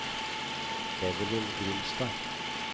Evelyn Grimstad